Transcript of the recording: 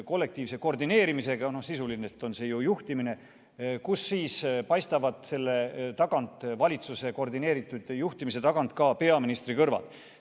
Kollektiivne koordineerimine – no sisuliselt on see ju juhtimine, ja selle valitsuse koordineeritud juhtimise tagant paistavad ka peaministri kõrvad.